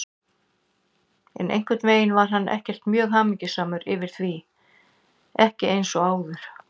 En einhvern veginn var hann ekkert mjög hamingjusamur yfir því, ekki eins og áður.